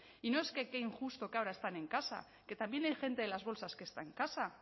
y no es que qué injusto que ahora están en casa que también hay gente de las bolsas que está en casa